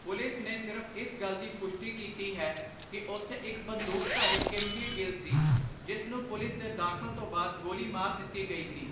Police ਨੇ ਸਿਰਫ਼ ਇਸ ਗੱਲ ਦੀ ਪੁਸ਼ਟੀ ਕੀਤੀ ਹੈ ਕਿ ਉੱਥੇ ਇੱਕ ਬੰਦੂਕਧਾਰੀ ਕਿਮਵੀਰ ਗਿੱਲ ਸੀ, ਜਿਸ ਨੂੰ 'ਪੁਲਿਸ ਦੇ ਦਖ਼ਲ ਤੋਂ ਬਾਅਦ' ਗੋਲੀ ਮਾਰ ਦਿੱਤੀ ਗਈ ਸੀ।